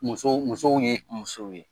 Muso musow ye musow ye.